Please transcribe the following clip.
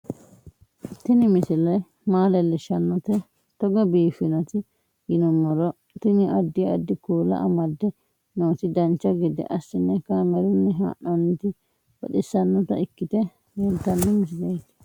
Tini misile maa leellishshannote togo biiffinoti yinummoro tini. addi addi kuula amadde nooti dancha gede assine kaamerunni haa'noonniti baxissannota ikkite leeltanno misileeti